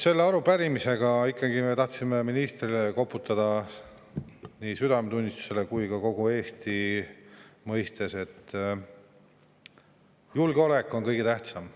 Selle arupärimisega ikkagi me tahtsime ministrile koputada südametunnistusele, et kogu Eesti mõistes julgeolek on kõige tähtsam.